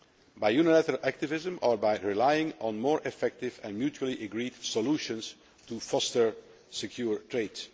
By unilateral activism or by relying on more effective and mutually agreed solutions to foster secure trade?